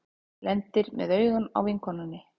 Lendir með augun á vinkonunni.